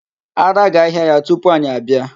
Ara ga-ahịa ya tupu anyị abịa.